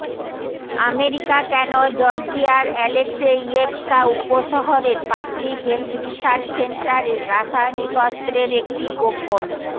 America কেন জর্জিয়ার Alekseyevka উপশহরের পাবলিক হেলথ রিসার্চ সেন্টারে রাসায়নিক অস্ত্রের একটি গোপন